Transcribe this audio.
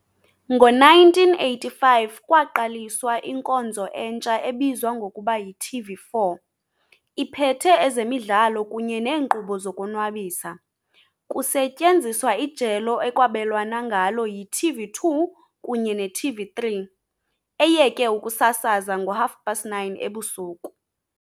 Ngo-1985, kwaqaliswa inkonzo entsha ebizwa ngokuba yi-TV4, iphethe ezemidlalo kunye neenkqubo zokuzonwabisa, kusetyenziswa ijelo ekwabelwana ngalo yi-TV2 kunye ne-TV3, eyeke ukusasaza ngo-9- 30 ebusuku.